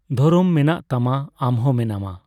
ᱫᱷᱚᱨᱚᱢ ᱢᱮᱱᱟᱜ ᱛᱟᱢᱟ, ᱟᱢ ᱦᱚ ᱢᱮᱱᱟᱢᱟ ᱾᱾